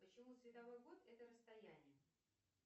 почему световой год это расстояние